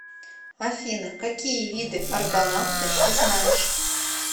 афина какие виды аргонавты ты знаешь